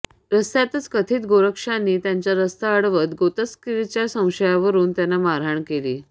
रस्त्यातच कथित गोरक्षकांनी त्यांचा रस्ता अडवत गोतस्करीच्या संशयावरून त्यांना मारहाण केली